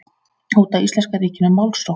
Hóta íslenska ríkinu málsókn